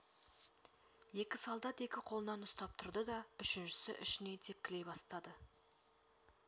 екі солдат екі қолынан ұстап тұрды да үшіншісі ішінен тепкілей бастады